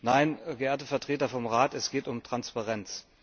Nein, geehrte Vertreter vom Rat, es geht um Transparenz.